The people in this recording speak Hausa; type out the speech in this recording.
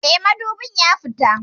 Eh, madubin ya fita